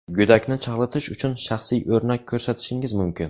Go‘dakni chalg‘itish uchun shaxsiy o‘rnak ko‘rsatishingiz mumkin.